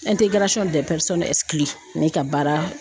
ne ka baara